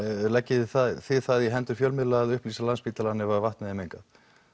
leggið þið það þið það í hendur fjölmiðla að upplýsa Landspítalann ef vatnið er mengað